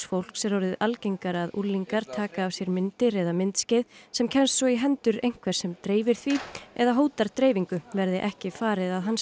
fólks er orðið algengara að unglingar taka af sér myndir eða myndskeið sem kemst svo í hendur einhvers sem dreifir því eða hótar dreifingu verði ekki farið að